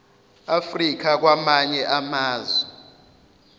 africa kwamanye amazwe